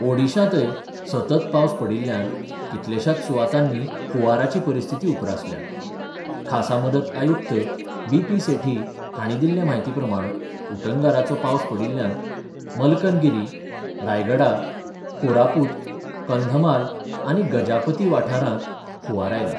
ओडिशांतय सतत पावस पडिल्ल्यान कितल्याशाच सुवातांनी हुंवाराची परिस्थिीति उप्रासल्या खासा मदत आयुक्त बीपी सेठी हांणी दिल्ले म्हायती प्रमाण उटंगराचो पावस पडिल्ल्यान मलकनगिरी, रायगडा, कोरापूत, कंधमाल आनी गजापती वाठारांत हुंवार आयला.